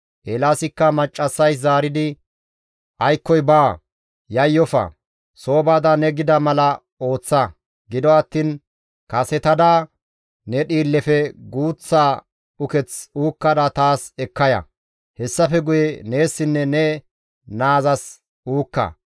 Eelaasikka maccassays zaaridi, «Aykkoy baawa, yayyofa; soo baada ne gida mala ooththa; gido attiin kasetada ne dhiillefe guuththa uketh uukkada taas ekka ya; hessafe guye neessinne ne naazas uukka.